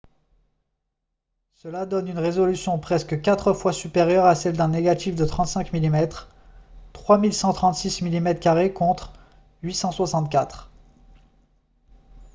cela donne une résolution presque quatre fois supérieure à celle d'un négatif de 35 mm 3136 mm2 contre 864